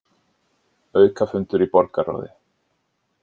Aukafundur í borgarráði